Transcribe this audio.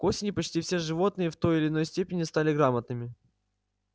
к осени почти все животные в той или иной степени стали грамотными